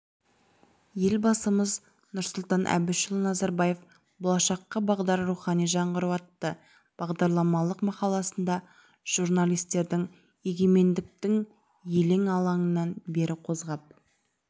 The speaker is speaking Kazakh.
елбасымыз нұрсұлан әбішұлы назарбаев болашаққа бағдар рухани жаңғыру атты бағдарламалық мақаласында журналистердің егемендіктің елең-алаңынан бері қозғап